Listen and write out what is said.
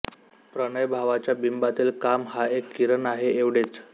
प्रणयभावाच्या बिंबातील काम हा एक किरण आहे एवढेच